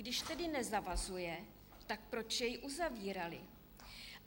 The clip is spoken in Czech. Když tedy nezavazuje, tak proč jej uzavírali?